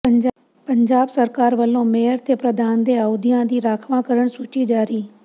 ਪੰਜਾਬ ਸਰਕਾਰ ਵੱਲੋਂ ਮੇਅਰ ਤੇ ਪ੍ਰਧਾਨ ਦੇ ਅਹੁਦਿਆਂ ਦੀ ਰਾਖਵਾਂਕਰਨ ਸੂਚੀ ਜਾਰੀ